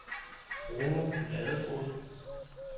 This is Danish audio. Bruno Ladefoged